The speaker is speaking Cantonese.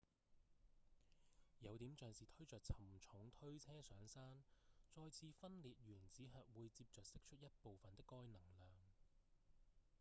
有點像是推著沉重推車上山再次分裂原子核會接著釋出一部份的該能量